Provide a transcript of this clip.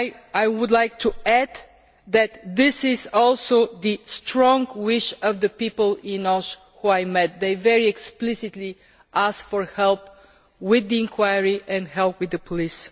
I would like to add that this is also the strong wish of the people in Osh who I met they very explicitly asked for help with the inquiry and help with the police.